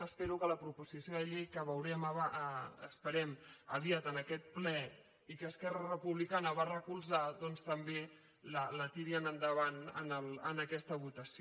espero que la proposició de llei que veurem esperem aviat en aquest ple i que esquerra republicana va recolzar doncs també la tirin endavant en aquesta votació